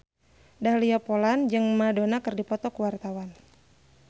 Dahlia Poland jeung Madonna keur dipoto ku wartawan